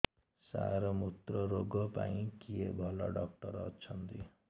ସାର ମୁତ୍ରରୋଗ ପାଇଁ କିଏ ଭଲ ଡକ୍ଟର ଅଛନ୍ତି